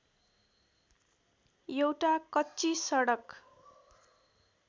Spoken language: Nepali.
एउटा कच्ची सडक